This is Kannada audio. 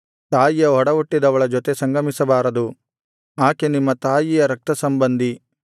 ತಾಯಿಯ ಒಡಹುಟ್ಟಿದವಳ ಜೊತೆ ಸಂಗಮಿಸಬಾರದು ಆಕೆ ನಿಮ್ಮ ತಾಯಿಯ ರಕ್ತಸಂಬಂಧಿ